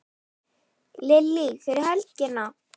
Lillý: Fyrir helgina?